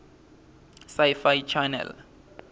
sci fi channel